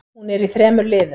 Hún er í þremur liðum.